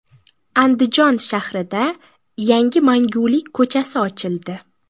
Andijon shahrida yangi Mangulik ko‘chasi ochildi.